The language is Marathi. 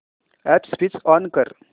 अॅप स्विच ऑन कर